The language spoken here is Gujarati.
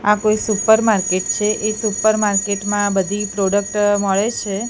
આ કોઈ સુપરમાર્કેટ છે એ સુપરમાર્કેટ મા આ બધી પ્રોડક્ટ મળે છે.